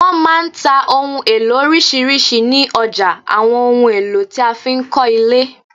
Wọn máa ń tà òhun èlò orisirisi ni ọjà àwọn ohùn èlò tí a fi ń kọ ile